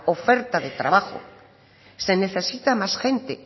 oferta de trabajo s e necesita más gente